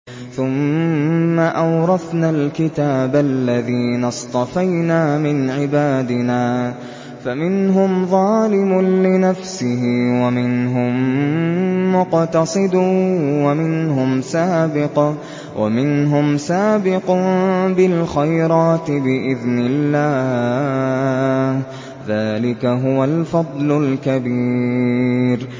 ثُمَّ أَوْرَثْنَا الْكِتَابَ الَّذِينَ اصْطَفَيْنَا مِنْ عِبَادِنَا ۖ فَمِنْهُمْ ظَالِمٌ لِّنَفْسِهِ وَمِنْهُم مُّقْتَصِدٌ وَمِنْهُمْ سَابِقٌ بِالْخَيْرَاتِ بِإِذْنِ اللَّهِ ۚ ذَٰلِكَ هُوَ الْفَضْلُ الْكَبِيرُ